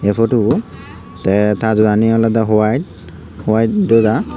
ai photo bu te ta jodani olode white white joda.